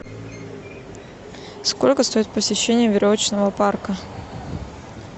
сколько стоит посещение веревочного парка